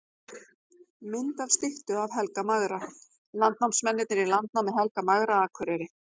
Mynd af styttu af Helga magra: Landnámsmennirnir í landnámi Helga magra Akureyri.